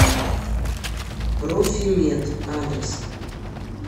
профимед адрес